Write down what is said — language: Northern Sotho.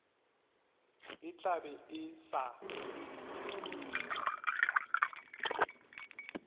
e tla be e sa